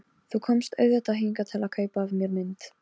Nei, oftast með nokkrum félögum mínum.